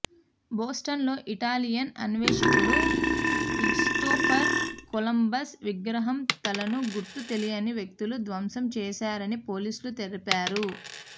బోస్టన్లో Italian అన్వేషకుడు Christopher Columbus విగ్రహం తలను గుర్తు తెలియని వ్యక్తులు ధ్వంసం చేశారని పోలీసులు తెలిపారు